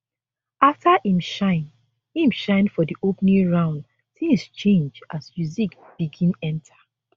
afta im shine im shine for di opening rounds tins change as usyk begin enta